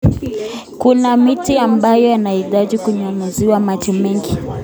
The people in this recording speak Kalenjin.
Kuna miti ambayo yanahitaji kunyunyiziwa maji mengi